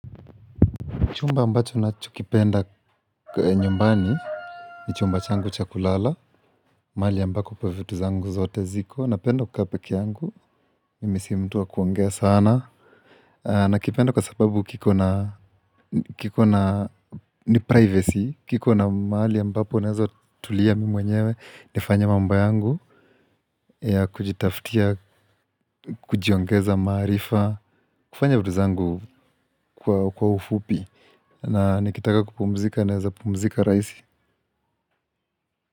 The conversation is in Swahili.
Chumba ambacho ninachokipenda nyumbani, ni chumba changu cha kulala, mahali ambako ipo vitu zangu zote ziko, napenda kukaa pekee yangu, mimi si mtu wa kuongea sana, nakipenda kwa sababu kiko na, kiko na, ni privacy, kiko na mahali ambapo naeza tulia mi mwenyewe, nifanye mambo yangu, ya kujitaftia, kujiongeza maarifa, kufanya vitu zangu kwa kwa ufupi, na nikitaka kupumzika, naeza pumzika rahisi.